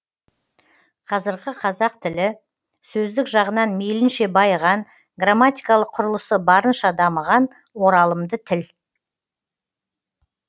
қазіргі қазақ тілі сөздік жағынан мейлінше байыған грамматикалық құрылысы барынша дамыған оралымды тіл